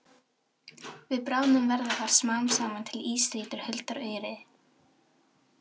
Við bráðnun verða þar smám saman til ísstrýtur huldar auri.